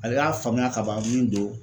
Ale y'a faamuya ka ban min don